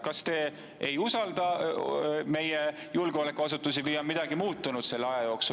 Kas te ei usalda meie julgeolekuasutusi või on midagi muutunud selle aja jooksul …